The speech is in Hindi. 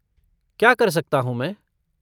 क्या कर सकता हूँ मैं?